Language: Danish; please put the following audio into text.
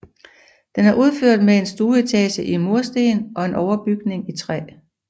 Den er udført med en stueetage i mursten og en overbygning i træ